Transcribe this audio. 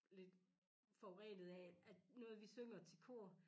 Lidt forurenet af at noget vi synger til kor